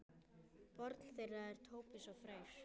Barn þeirra er Tobías Freyr.